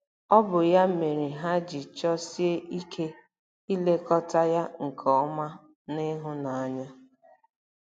Ọ bụ ya mere ha ji chọsie ike ilekọta ya nke ọma na ịhụnanya.